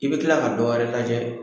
I bɛ tila ka dɔ wɛrɛ lajɛ